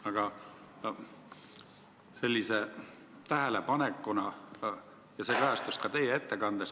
Aga toon sellise tähelepaneku, mis kajastus ka teie ettekandes.